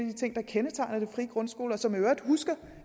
de ting der kendetegner de frie grundskoler og som jeg i øvrigt husker